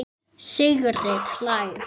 Sigrid hlær.